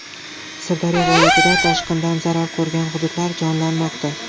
Sirdaryo viloyatida toshqindan zarar ko‘rgan hududlar jonlanmoqda.